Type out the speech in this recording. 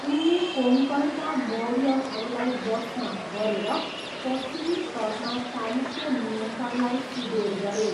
उनले कोङ्कणका मौर्यहरूलाई वशमा गरेर पश्चिमी तटमा चालुक्य नियन्त्रणलाई सुदृढ गरे।